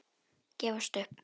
Gefast upp!